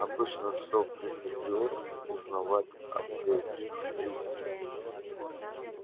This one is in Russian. обычно всё приходилось узнавать от третьих лиц